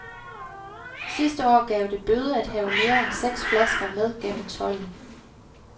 Sidste år gav det bøde at have mere end seks flasker med gennem tolden.